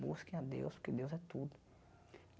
Busquem a Deus, porque Deus é tudo.